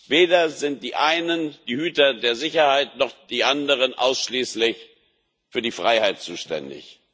Weder sind die einen die Hüter der Sicherheit noch die anderen ausschließlich für die Freiheit zuständig.